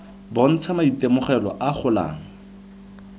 bontsha maitemogelo a a golang